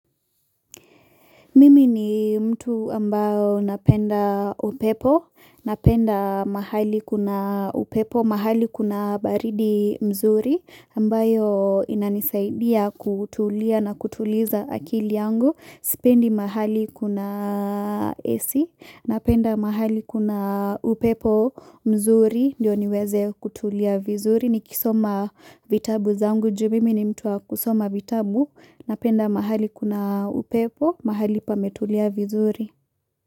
Mimi ni mtu ambayo napenda upepo, napenda mahali kuna upepo, mahali kuna baridi mzuri ambayo inanisaidia kutulia na kutuliza akili yangu, Sipendi mahali kuna AC, napenda mahali kuna upepo mzuri, ndio niweze kutulia vizuri, nikisoma vitabu zangu, juu mimi ni mtu wa kusoma vitabu, napenda mahali kuna upepo, mahali pametulia vizuri.